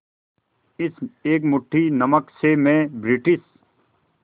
इस एक मुट्ठी नमक से मैं ब्रिटिश